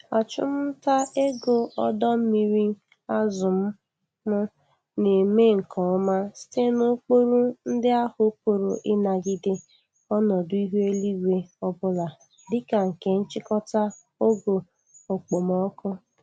Achụmta ego ọdọ mmiri azụ m m na-eme nke ọma site n'ụkpụrụ ndị ahụ pụrụ ịnagide ọnọdụ ihu eluigwe ọbụla dịka nke nchịkọta ogo okpomọkụ.